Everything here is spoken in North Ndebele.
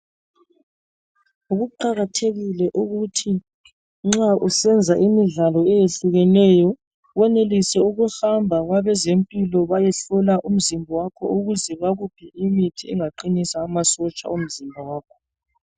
Kuqakathekile ukuthi nxa usenza imidlalo eyehlukeneyo, wenelise ukuhamba kwabezempilo bayehlola umzimba wakho ukuze bakunike imithi engaqinisa amasotsha omzimba wakho.